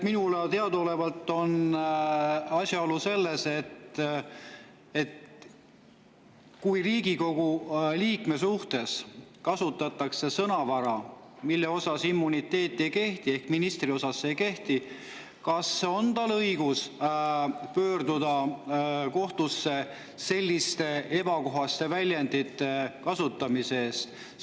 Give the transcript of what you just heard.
Minule teadaolevalt on asjaolu selles, et kui Riigikogu liikme kohta kasutab teatud sõnavara minister, kellele immuniteet ei kehti, siis kas Riigikogu liikmel on õigus pöörduda kohtusse selliste ebakohaste väljendite kasutamise pärast?